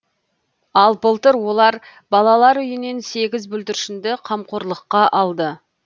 ал былтыр олар балалар үйінен сегіз бүлдіршінді қамқорлыққа алды